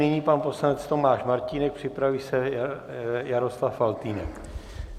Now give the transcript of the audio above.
Nyní pan poslanec Tomáš Martínek, připraví se Jaroslav Faltýnek.